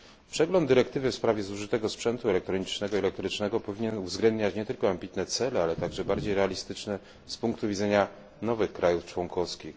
Przegląd dyrektywy w sprawie zużytego sprzętu elektronicznego i elektrycznego powinien uwzględniać nie tylko ambitne cele, ale także bardziej realistyczne z punktu widzenia nowych krajów członkowskich.